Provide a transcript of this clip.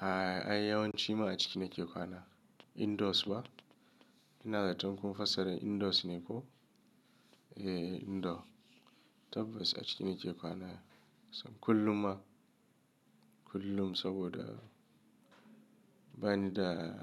Ayi yawon cima a ciki na ke kwana indoors ba? Ina zaton kun fassara indoors ne ko? Eee indoor tabbas a ciki na ke kwana kullum a kullum saboda bani da